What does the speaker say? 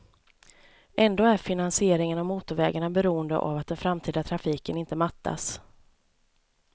Ändå är finansieringen av motorvägarna beroende av att den framtida trafiken inte mattas.